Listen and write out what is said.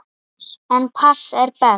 En pass er best.